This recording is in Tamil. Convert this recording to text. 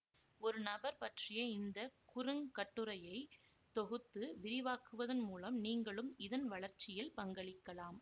ஒரு நபர் பற்றிய இந்த குறுங்கட்டுரையை தொகுத்து விரிவாக்குவதன் மூலம் நீங்களும் இதன் வளர்ச்சியில் பங்களிக்கலாம்